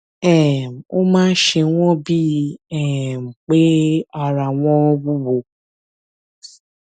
um ó máa ń ṣe wọn bíi um pé ara wọn wúwo